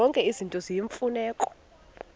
zonke izinto eziyimfuneko